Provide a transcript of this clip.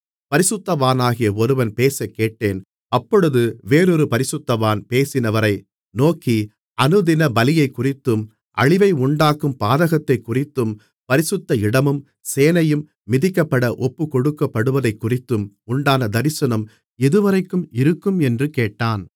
பரிசுத்தவானாகிய ஒருவன் பேசக்கேட்டேன் அப்பொழுது வேறொரு பரிசுத்தவான் பேசினவரை நோக்கி அனுதின பலியைக்குறித்தும் அழிவை உண்டாக்கும் பாதகத்தைக்குறித்தும் பரிசுத்த இடமும் சேனையும் மிதிக்கப்பட ஒப்புக்கொடுக்கப்படுவதைக்குறித்தும் உண்டான தரிசனம் எதுவரைக்கும் இருக்கும் என்று கேட்டான்